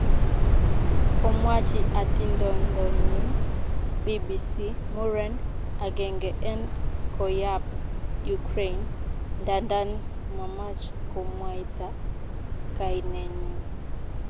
Komwachi atindondonyin BBC muren agenge en koyap Ukraine ndandan mamach komwaita kainenyin.